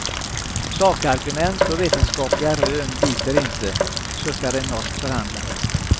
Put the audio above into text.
Sakargument och vetenskapliga rön biter inte, suckar en norsk förhandlare.